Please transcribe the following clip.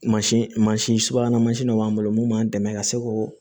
Mansin mansin subahana mansin dɔ b'an bolo mun b'an dɛmɛ ka se k'o